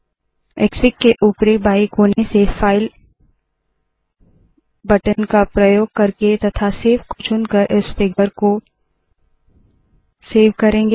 Xfig के उपरी बाएं कोने से फाइल बटन का प्रयोग करके तथा सेव को चुनकर इस फिगर को सेव करते है